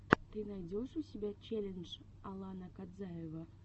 ты найдешь у себя челлендж алана кадзаева